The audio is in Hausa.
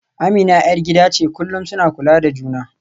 Amina ‘yar gida ce, kullum suna kula da juna.